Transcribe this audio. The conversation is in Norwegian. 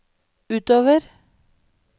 utover